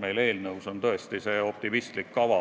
Meie eelnõus on optimistlik kava,